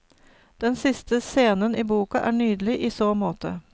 Den siste scenen i boka er nydelig i så måte.